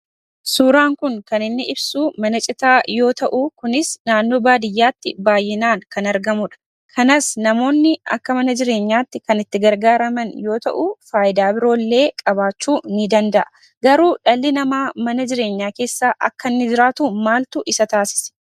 Suuraan kun kan inni ibsuu mana citaa yoo ta'u kunis naannoo baadiyyaatti baay'inaan kan argamudha. Kanas namoonni akka mana jireenyaatti kan itti gargaaraman yoo ta'u faayidaa biroollee qabaachuu ni danda'a. Garuu dhalli namaa mana jireenyaa keessa akka inni jiraatu maaltu isa taasise?